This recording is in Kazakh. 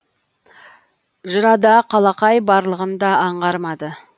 жырада қалақай барлығын да аңғармады